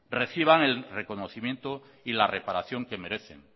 reciban el reconocimiento y la reparación que merecen